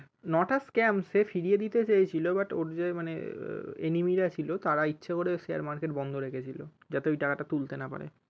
Not a scam সে ফিরিয়ে দিতে চেয়েছিলো but ওর যে মানে enamy রা ছিলো তারা ইচ্ছে করে share market বন্ধ রেখেছিলো যাতে ঐ টাকাটা তুলতে না পারে